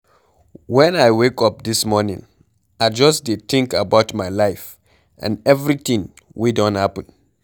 Wen I wake up dis morning I just dey think about my life and everything wey don happen.